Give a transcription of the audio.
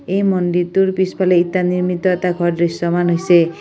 এই মন্দিৰটোৰ পিছফালে ইটা নিৰ্মিত এটা ঘৰ দৃশ্যমান হৈছে।